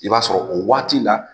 I b'a sɔrɔ o waati la.